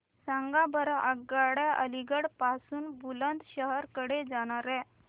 सांगा बरं आगगाड्या अलिगढ पासून बुलंदशहर कडे जाणाऱ्या